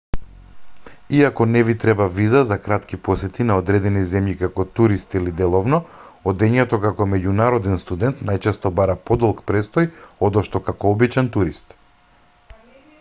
иако не ви треба виза за кратки посети на одредени земји како турист или деловно одењето како меѓународен студент најчесто бара подолг престој одошто како обичен турист